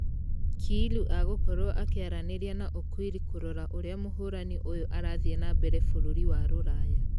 Kiilu agũkorwo akĩaranĩria na okwiri kũrora ũrĩa mũhũrani ũyũ arathie na mbere bũrũri wa rũraya.